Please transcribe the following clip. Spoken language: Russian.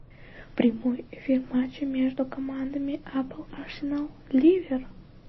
прямой эфир матча между командами апл арсенал ливер